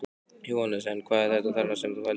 Jóhannes: En hvað er þetta þarna sem þú heldur í?